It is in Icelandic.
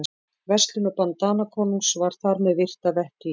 Verslunarbann Danakonungs var þar með virt að vettugi.